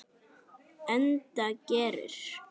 Enda gerir